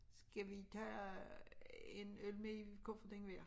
Skal vi tage en øl med i kufferten hver?